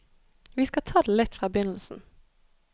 Vi skal ta det litt fra begynnelsen.